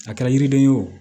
A kɛra yiriden ye o